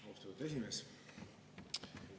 Austatud esimees!